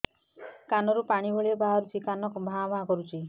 କାନ ରୁ ପାଣି ଭଳି ବାହାରୁଛି କାନ ଭାଁ ଭାଁ କରୁଛି